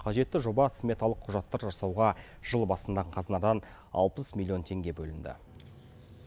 қажетті жоба сметалық құжаттар жасауға жыл басында қазынадан алпыс миллион теңге бөлінді